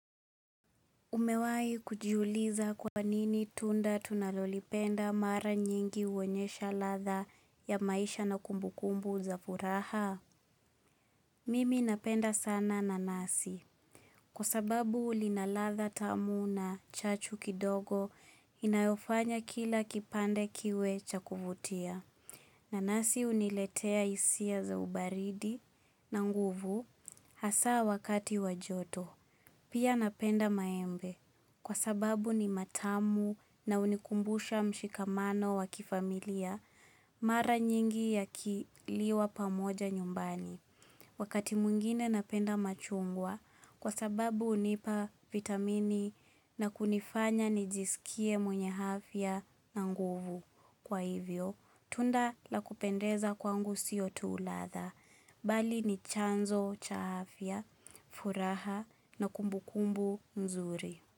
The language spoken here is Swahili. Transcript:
Umewai kujiuliza kwa nini tunda tunalolipenda mara nyingi uonyesha radha ya maisha na kumbu kumbu za furaha? Mimi napenda sana nanasi. Kwa sababu lina ratha tamu na chachu kidogo inayofanya kila kipande kiwe cha kuvutia. Nanasi uniletea hisia za ubaridi na nguvu hasaa wakati wa joto. Pia napenda maembe kwa sababu ni matamu na unikumbusha mshikamano wa kifamilia mara nyingi yakiliwa pamoja nyumbani. Wakati mungine napenda machungwa kwa sababu unipa vitamini na kunifanya nijisikie mwenye afya na nguvu. Kwa hivyo, tunda la kupendeza kwangu siyo tu ratha. Bali ni chanzo, cha afya, furaha na kumbu kumbu mzuri.